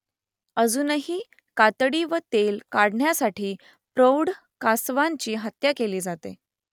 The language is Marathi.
अजूनही कातडी व तेल काढण्यासाठी प्रौढ कासवांची हत्या केली जाते